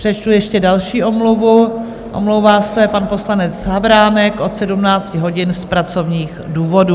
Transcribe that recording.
Přečtu ještě další omluvu: omlouvá se pan poslanec Havránek od 17 hodin z pracovních důvodů.